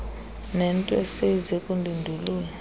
nento eseyize kundindulula